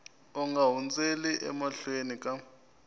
u nga hundzeli emahlweni ka